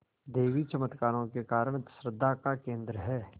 देवी चमत्कारों के कारण श्रद्धा का केन्द्र है